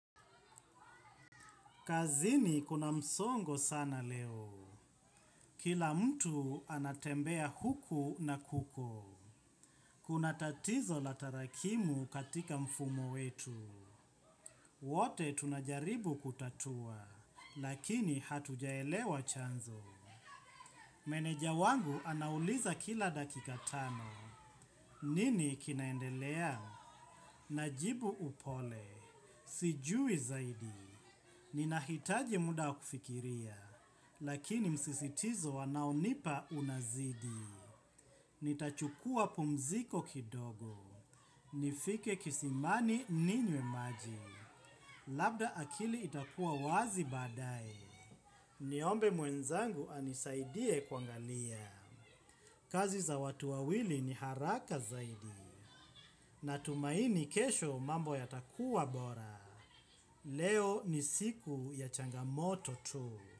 Kazini kuna msongo sana leo. Kila mtu anatembea huku na kuko. Kuna tatizo la tarakimu katika mfumo wetu. Wote tunajaribu kutatua, lakini hatujaelewa chanzo. Meneja wangu anauliza kila dakika tano. Nini kinaendelea? Najibu upole. Sijui zaidi. Ninahitaji muda wa kufikiria, lakini msisitizo wanaonipa unazidi. Nitachukua pumziko kidogo. Nifike kisimani ninywe maji. Labda akili itakuwa wazi badae. Niombe mwenzangu anisaidie kuangalia. Kazi za watu wawili ni haraka zaidi. Na tumaini kesho mambo ya takuwa bora. Leo ni siku ya changamoto tu.